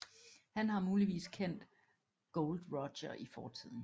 Han har muligvis kendt Gold Roger i fortiden